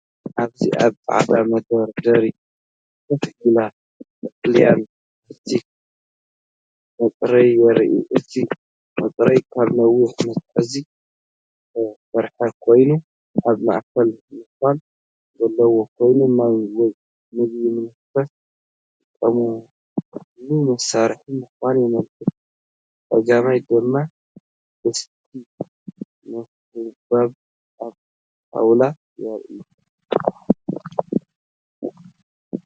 ኣብዚ ኣብ ጻዕዳ መደርደሪ ኮፍ ኢሉ ቀጠልያ ፕላስቲክ መጽረዪ የርኢ። እቲ መጽረዪ ካብ ነዊሕ መትሓዚ ዝተሰርሐ ኮይኑ ኣብ ማእከሉ ነዃል ዘለዎ ኮይኑ፡ማይ ወይ ምግቢ ንምፍታሕ ዝጥቀመሉ መሳርሒ ምዃኑ የመልክት። ብጸጋም ድማ ድስቲ ዕምባባ ኣብ ጣውላ ይርአ።